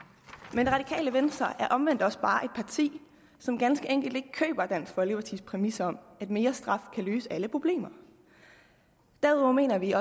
men det radikale venstre er omvendt også bare et parti som ganske enkelt ikke køber dansk folkepartis præmis om at mere straf kan løse alle problemer derudover mener vi